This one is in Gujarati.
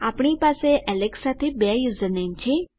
આપણી પાસે એલેક્સ સાથે બે યુઝરનેમ છે